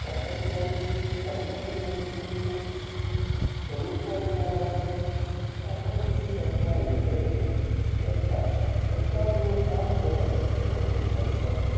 Start up એ ચાલુ થઇ ગયું finance એ મળી ગયું કોઈ ને જ તકલીફ ના થાય તો આ બધું જ સંકળાયેલ છે સરકાર તરફ સરકાર જો ચાલ્યું બરાબર તો બધું હારું થાય.